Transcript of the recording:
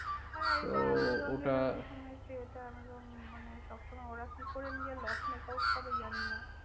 হ্যাঁ এটা আমাজনে তো ওটা আমি শুনেছি এটা মানে, সবসময় ওরা কি করে নিজের loss make out করে জানিনা?